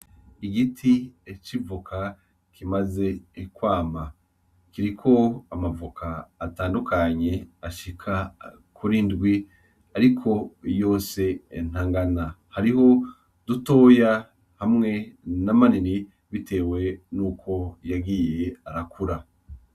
Igiti c’ivoka kimaze kwamako amavoka atandukanye ashika kuri ndwi ariko yose ntangana . Hariho dutoya hamw na manini bitewe nuko yagiye arakura.